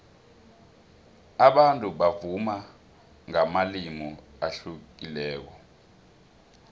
abantu bavuma ngamalimi ahlukileko